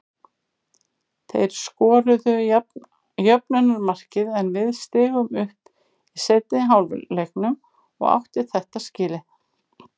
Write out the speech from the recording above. Þeir skoruðu jöfnunarmarkið en við stigum upp í seinni hálfleiknum og áttu þetta skilið.